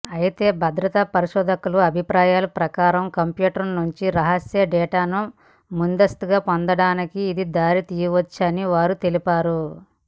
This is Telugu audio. అయితే భద్రతా పరిశోధకుల అభిప్రాయం ప్రకారం కంప్యూటర్ నుండి రహస్య డేటాను ముందస్తుగా పొందటానికి ఇది దారితీయవచ్చని వారు తెలిపారు